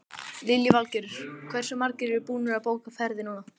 Lillý Valgerður: Hversu margir eru búnir að bóka ferðir núna?